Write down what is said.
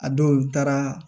A dɔw taara